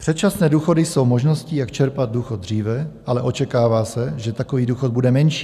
Předčasné důchody jsou možností, jak čerpat důchod dříve, ale očekává se, že takový důchod bude menší.